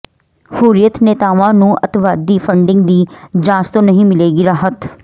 ਹੁਰੀਅਤ ਨੇਤਾਵਾਂ ਨੂੰ ਅੱਤਵਾਦੀ ਫੰਡਿੰਗ ਦੀ ਜਾਂਚ ਤੋਂ ਨਹੀਂ ਮਿਲੇਗੀ ਰਾਹਤ